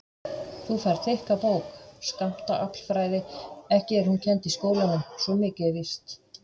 Þú færð þykka bók, Skammtaaflfræði, ekki er hún kennd í skólanum svo mikið er víst.